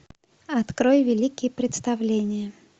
открой великие представления